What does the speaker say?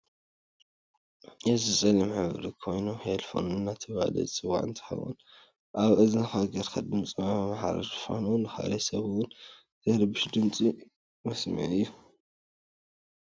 እዚ ፀሊም ሕብሪ ኮይኑ ሂልፎን አዳተባህለ ዝፂዋዐ እንትከውን አብ እዝንካ ገይርካ ድምፂ መማሓላለፊ ኮይኑ ንካሊእ ስብ እውን ዘይርብሽ ድምፂ መስምዒ እዩ።